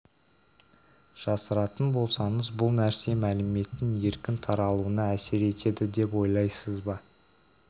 жасыратын болсаңыз бұл нәрсе мәліметтің еркін таралуына әсер етеді деп ойлайсыз ба